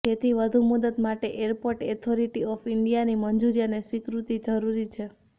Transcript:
જેથી વધુ મુદત માટે એરપોર્ટ ઓથોરિટી ઓફ ઇન્ડિયાની મંજૂરી અને સ્વીકૃતિ જરૂરી છે